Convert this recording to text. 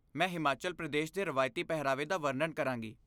ਮੈਂ ਹਿਮਾਚਲ ਪ੍ਰਦੇਸ਼ ਦੇ ਰਵਾਇਤੀ ਪਹਿਰਾਵੇ ਦਾ ਵਰਣਨ ਕਰਾਂਗੀ।